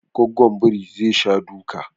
Gwaggon biri zai sha duka